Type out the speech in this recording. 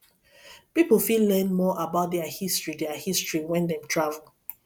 pipo fit learn more about their history their history when dem travel